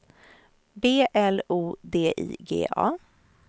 B L O D I G A